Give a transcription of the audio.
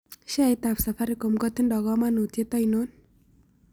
Sheaitap safaricom kotindo kamanutiet ainon